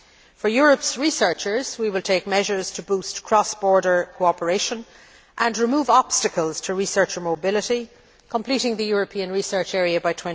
For Europe's researchers, we will take measures to boost cross border cooperation and remove obstacles to research and mobility, completing the European Research Area by